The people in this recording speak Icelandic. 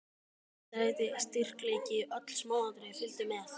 Tegundarheiti, styrkleiki, öll smáatriði fylgdu með.